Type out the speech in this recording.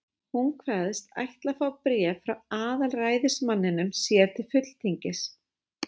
Hún kveðst ætla að fá bréf frá aðalræðismanninum sér til fulltingis.